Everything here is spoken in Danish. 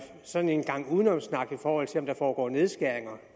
sådan en gang udenomssnak i forhold til om der foregår nedskæringer